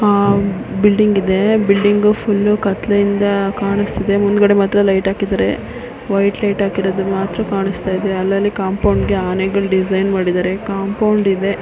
ಆ ಬಿಲ್ಡಿಂಗ್ ಇದೆ building full ಕತ್ತಲೆ ಇಂದ ಕಾನಿಸ್ತಾಇದೆ ಮುಂದ್ಗಡೆ ಮಾತ್ರ ಲೈಟ್ ಹಾಕ್ಕಿದಾರೆ ವೈಟ್ ಲೈಟ್ ಹಾಕ್ಕಿರೋದು ಮಾತ್ರ ಕಾಣಿಸ್ತಾಇದೆ ಮತ್ತೆ ಕಾಂಪೌಂಡ್ ಗಾಏ ಆನೆಗಳ ಡಿಸೈನ್ ಮಾಡಿದ್ದಾರೆ ಕಾಂಪೌಂಡ್ ಇದೆ .